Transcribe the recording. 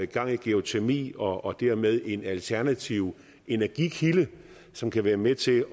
gang i geotermi og dermed en alternativ energikilde som kan være med til